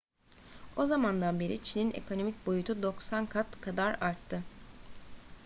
o zamandan beri çin'in ekonomik boyutu 90 kat kadar arttı